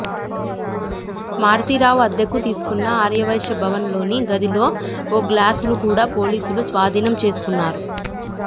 మారుతీరావు అద్దెకు తీసుకున్న ఆర్యవైశ్య భవన్ లోని గదిలో ఓ గ్లాసును కూడా పోలీసులు స్వాధీనం చేసుకున్నారు